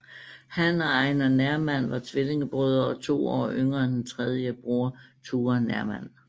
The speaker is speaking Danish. Han og Einar Nerman var tvillingebrødre og to år yngre end den tredje broder Ture Nerman